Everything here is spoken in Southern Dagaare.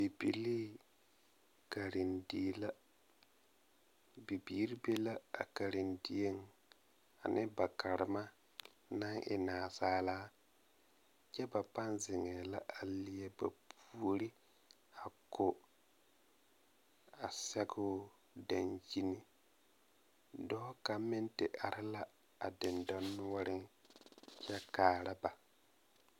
Bibilii karendie la bibiiri be la a katendieŋ ane ba Karema naŋ e nansaala kyɛ ba pãã zeŋɛɛ la a leɛ ba puori a ko a sɛgoo dankyini dɔɔ kaŋa meŋ te are la a dendɔnoɔreŋ kyɛ kaara ba.